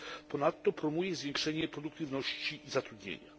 Ponadto promuje zwiększenie produktywności i zatrudnienia.